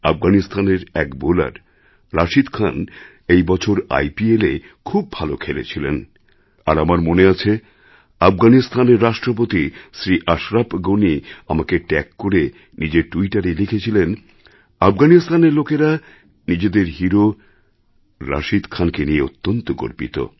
আফগানিস্তানের এক বোলার রাশিদ খান এই বছর আইপিএলে খুব ভালো খেলেছিলেন আর আমার মনে আছে আফগানিস্তানের রাষ্ট্রপতি শ্রী আশরফ গণি আমাকে ট্যাগ করে নিজের ট্যুইটারে লিখেছিলেন আফগানিস্তানের লোকেরা নিজেদের হিরো রাশিদ খানকে নিয়ে অত্যন্ত গর্বিত